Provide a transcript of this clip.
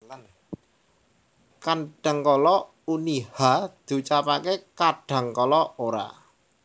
Kadhangkala uni /h/ diucapaké kadhangkala ora